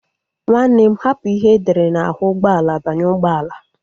Nwanne m hapụ ihe edere n'ahụ ụgbọala banye ụgbọala